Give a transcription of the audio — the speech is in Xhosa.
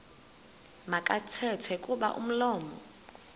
makathethe kuba umlomo